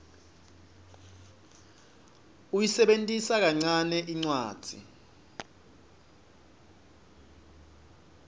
uyisebentisa kancane incwadzi